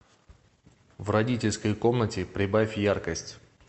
в родительской комнате прибавь яркость